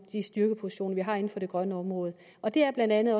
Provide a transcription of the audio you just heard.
de styrkepositioner vi har inden for det grønne område og det er blandt andet